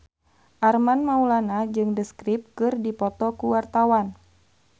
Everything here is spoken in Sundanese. Armand Maulana jeung The Script keur dipoto ku wartawan